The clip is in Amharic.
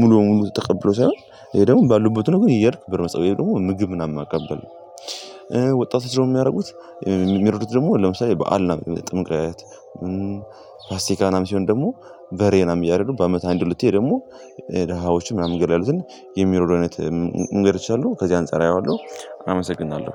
ሙሉ ሙሉ ተቀብሎ ሳይሆን ይሄ ደግሞ ባሉበት ሆኖ ግን እየሄድክ ብር መስጠት ወይም ደግሞ ምግብ ምናምን ማቀበል። ወጣቶች ስለሆኑ የሚያደርጉት የሚረዱት ደግሞ ለምሳሌ በዓል እና ጥምቅት ፋሲካ ምናምን ሲሆን ደግሞ በሬ ምናምን እያደረጉ በአመት አንድ ሁለቴ ደግሞ ደሃዎችም መንገድ ላይ ያሉትን የሚረዱ አይነት መንገዶች አሉ። ከዚህ አንፃር አየዋለሁ አመሰግናለሁ።